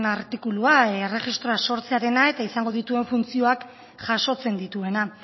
artikulua erregistroa sortzearena eta izango dituen funtzioak jasotzen dituena